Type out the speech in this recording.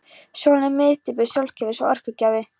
Sólin er miðdepill sólkerfisins og orkugjafi.